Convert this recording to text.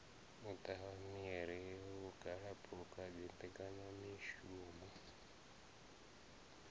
u tavha miri vhugalaphukha dzimbekanyamishumo